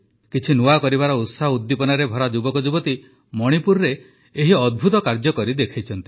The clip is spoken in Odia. କିଛି ନୂଆ କରିବାର ଉତ୍ସାହ ଉଦ୍ଦୀପନାରେ ଭରା ଯୁବକ ଯୁବତୀ ମଣିପୁରରେ ଏହି ଅଦ୍ଭୁତ କାର୍ଯ୍ୟ କରି ଦେଖାଇଛନ୍ତି